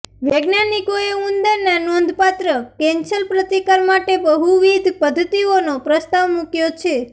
વૈજ્ઞાનિકોએ ઉંદરના નોંધપાત્ર કેન્સર પ્રતિકાર માટે બહુવિધ પદ્ધતિઓનો પ્રસ્તાવ મૂક્યો છે